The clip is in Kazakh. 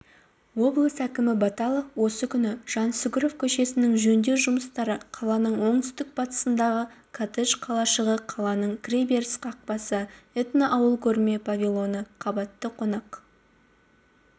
облыс әкімі баталов осы күні жансүгіров көшесінің жөндеу жұмыстары қаланың оңтүстік-батысындағы коттедж қалашығы қаланың кіреберіс қақпасы этноауыл көрме павильоны қабатты қонақ